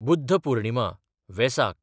Buddha पुर्णिमा/वेसाक